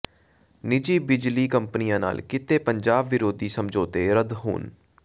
ਨਿੱਜੀ ਬਿਜਲੀ ਕੰਪਨੀਆਂ ਨਾਲ ਕੀਤੇ ਪੰਜਾਬ ਵਿਰੋਧੀ ਸਮਝੌਤੇ ਰੱਦ ਹੋਣ